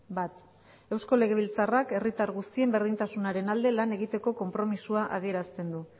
bat eusko legebiltzarrak herritar guztien berdintasunaren alde lan egiteko konpromisoa adierazten du